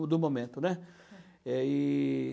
do momento, né. É, e...